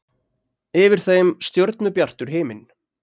Yfir þeim stjörnubjartur himinn.